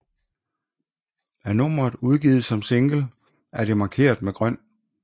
Er nummeret udgivet som single er det markeret med grøn